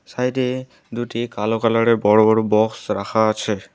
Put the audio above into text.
Side -এ দুটি কালো কালারের বড় বড় বক্স রাখা আছে।